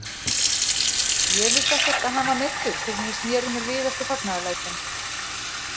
Ég vissi ekkert að hann var meiddur fyrr en ég sneri mér við eftir fagnaðarlætin.